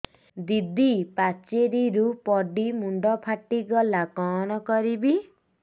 ଦିଦି ପାଚେରୀରୁ ପଡି ମୁଣ୍ଡ ଫାଟିଗଲା କଣ କରିବି